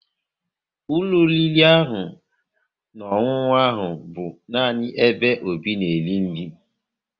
Ụlọ oriri na ọṅụṅụ ahụ bụ nani ebe Obi na-eri nri